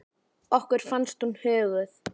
Okkur fannst hún huguð.